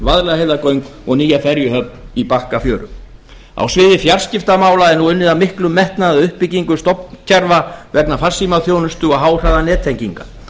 vaðlaheiðargöng og nýja ferjuhöfn í bakkafjöru á sviði fjarskiptamála er nú unnið af miklum metnaði að uppbyggingu stofnkerfa vegna farsímaþjónustu og háhraðanettenginga